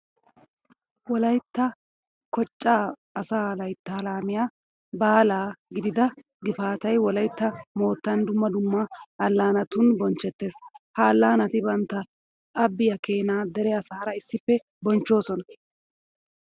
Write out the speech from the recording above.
Wolaytta kochchaa asaa layttaa laamiya baalaa gidida gifaatay wolaytta moottN dumma dumma allaanatun bonchchettees. Ha allaanati bantta abbiya keenaa dere asaara issippe bonchchoosona.